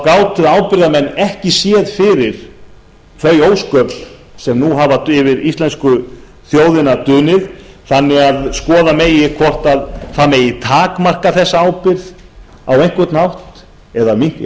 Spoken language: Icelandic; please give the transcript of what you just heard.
gátu ábyrgðarmenn ekki séð fyrir þau ósköp sem nú hafa yfir íslensku þjóðina dunið þannig að skoða megi hvort það megi takmarka þessa ábyrgð á einhvern hátt eða